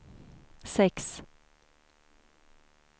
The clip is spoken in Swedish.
sex